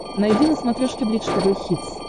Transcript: найди на смотрешке бридж тв хитс